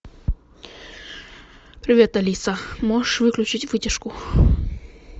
привет алиса можешь выключить вытяжку